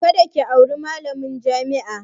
Kada ki auri malamin jami'a!